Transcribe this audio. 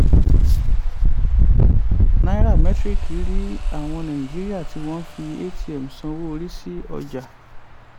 nairametrics rí àwọn nàìjíríà tí wọ́n fi atm sanwó rísí ọjà.